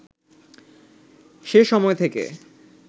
সে সময় থেকে